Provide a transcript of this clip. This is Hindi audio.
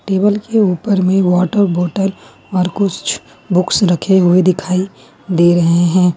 टेबल के ऊपर में वाटर बोतल और कुछ बॉक्स रखे हुए दिखाई दे रहे हैं।